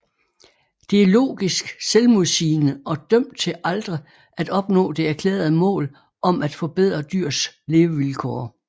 Det er logisk selvmodsigende og dømt til aldrig at opnå det erklærede mål om at forbedre dyrs levevilkår